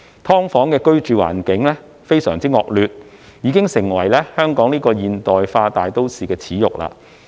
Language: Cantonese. "劏房"的居住環境非常惡劣，已經成為香港這個現代化大都市的耻辱。